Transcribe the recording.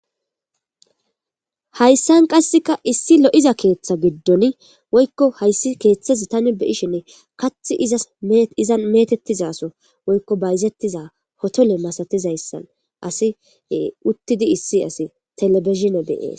hayssan qasseka issi lo7iza keeththa giddon woykko hayssi keeththezi tani beyishinne kath zasizan metettizaso woykko bayzettiza hotole masatizayssan asi uttidi issi asi telebishine beyee